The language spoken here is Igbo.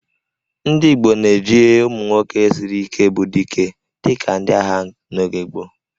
Ndị Igbo na-eji ụmụ nwoke siri Ike bụ 'Dike' dịka ndị agha n'oge gboo